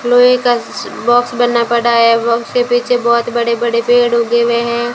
लोहे का बॉक्स बना पड़ा है। उसके पीछे बहोत बड़े-बड़े पेड़ उगे हुए हैं।